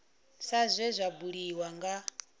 sa zwe zwa buliwa nga